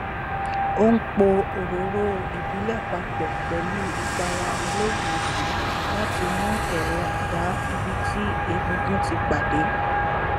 ó n po òróró ìbílẹ papọ pẹlú ìpara ilé ìwòsàn láti mú ẹrọ bá ibi tí egungun ti pàdé